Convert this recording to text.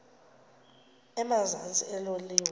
emazantsi elo liwa